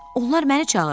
Onlar məni çağırır.